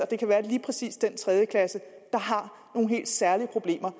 det kan være lige præcis den tredje klasse der har nogle helt særlige problemer